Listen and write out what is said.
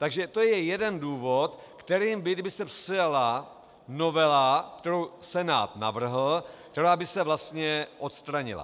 Takže to je jeden důvod, kterým by, kdyby se přijala novela, kterou Senát navrhl, která by se vlastně odstranila.